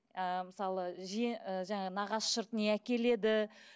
ы мысалы ы жаңағы нағашы жұрт не әкеледі